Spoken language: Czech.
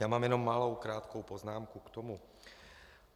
Já mám jenom malou krátkou poznámku k tomu.